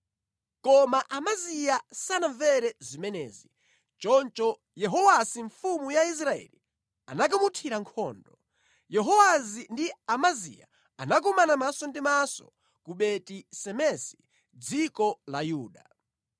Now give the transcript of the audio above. Koma Amaziya sanamvere zimenezi. Choncho Yehowasi mfumu ya Israeli anakamuthira nkhondo. Yehowasi ndi Amaziya anakumana maso ndi maso ku Beti-Semesi mʼdziko la Yuda.